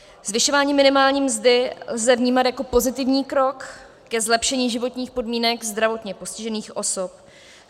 Zvyšování minimální mzdy lze vnímat jako pozitivní krok k zlepšení životních podmínek zdravotně postižených osob.